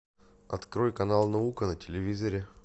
открой канал наука на телевизоре